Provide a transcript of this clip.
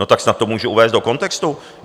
No tak snad to můžu uvést do kontextu.